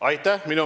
Aitäh!